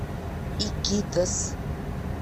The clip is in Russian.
икитос